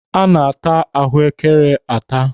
A na-ata ahụekere ata.